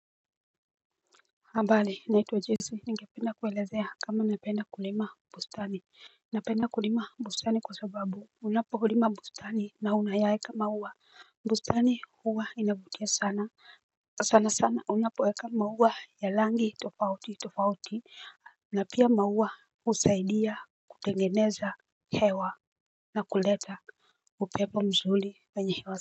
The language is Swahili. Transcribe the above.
Ambali naitwa jesi ningependa kuelezea kama napenda kulima bustani. Napenda kulima bustani kwa sababu unapolima bustani na unayaeka maua. Bustani huwa inavutia sana sana sana unapoeka maua ya langi tofauti tofauti na pia maua husaidia kutengeneza hewa na kuleta upepo mzuli wenye hewa.